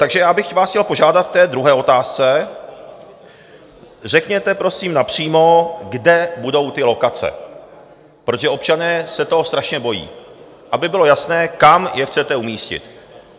Takže já bych vás chtěl požádat v té druhé otázce: Řekněte prosím napřímo, kde budou ty lokace, protože občané se toho strašně bojí - aby bylo jasné, kam je chcete umístit.